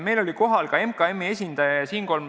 Meil oli kohal ka MKM-i esindaja.